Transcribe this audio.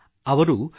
ಅವರು MyGov